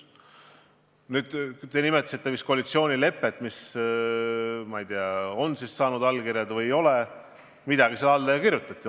Te nimetasite koalitsioonilepet, mis, ma ei tea, kas on saanud allkirjad või ei ole, aga midagi ju sinna alla kirjutati.